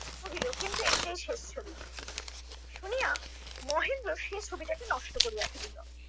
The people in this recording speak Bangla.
কহিল, কিন্তু এইটাই শেষ ছবি। শুনিয়া মহেন্দ্র সেই ছবিটাকে নষ্ট করিয়া ফেলিল।